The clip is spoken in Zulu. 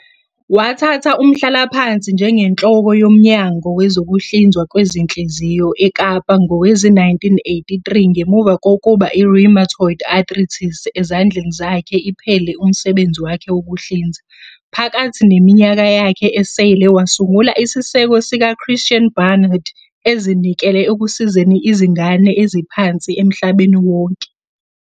Wathatha umhlalaphansi njengenhloko yoMnyango Wezokuhlinzwa Kwezinhliziyo eKapa ngowezi-1983 ngemuva kokuba I-rheumatoid arthritis ezandleni zakhe iphele umsebenzi wakhe wokuhlinza. Phakathi neminyaka yakhe esele, wasungula isiseko siks Christian Barnard, ezinikele ekusizeni izingane eziphansi emhlabeni wonke.